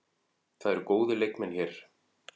Það eru góðir leikmenn hér.